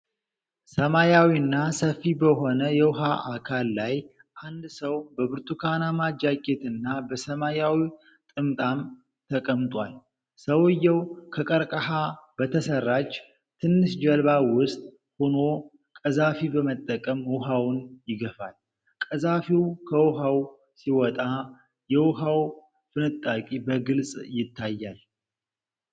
ሰማያዊና ሰፊ በሆነ የውሃ አካል ላይ አንድ ሰው በብርቱካናማ ጃኬትና በሰማያዊ ጥምጣም ተቀምጧል። ሰውየው ከቀርቀሃ በተሰራች ትንሽ ጀልባ ውስጥ ሆኖ ቀዛፊ በመጠቀም ውሃውን ይገፋል። ቀዛፊው ከውኃው ሲወጣ የውኃ ፍንጣቂ በግልጽ ይታያል።